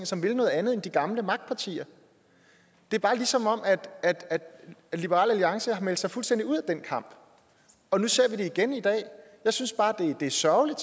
som ville noget andet end de gamle magtpartier det er bare som om liberal alliance har meldt sig fuldstændig ud af den kamp og nu ser vi det igen i dag jeg synes bare det er sørgeligt